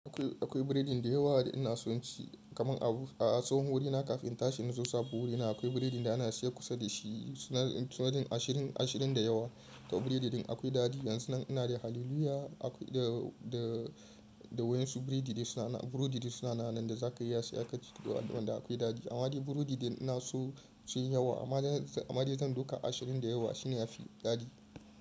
Akwai, akwai biredin da yawa da ina son ci kaman a, a tsohon wurina kafin in tashi na zo sabo wurina akwai biredin da ana siyan kusa da shi suna, suna yin ashirin, ashirin da yawa. To biredin akwai dadi. Yanzu nan ina da haliluya da, da, da wayansu biredi suna, burodi suna nanan da za ka iya saya kaci duk wadanda akwai dadi. Amma burodi da ina so ci yawa amma, amma dai zan dauka ashirin da yawa shine yafi dadi.